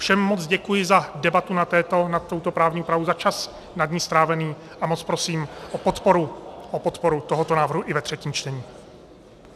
Všem moc děkuji za debatu nad touto právní úpravou, za čas nad ní strávený a moc prosím o podporu tohoto návrhu i ve třetím čtení.